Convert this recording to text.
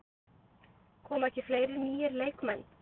Koma ekki fleiri nýir leikmenn?